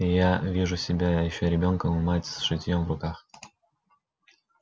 и я вижу себя ещё ребёнком и мать с шитьём в руках